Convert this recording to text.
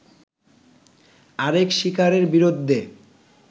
আরেক শিকারের বিরুদ্ধে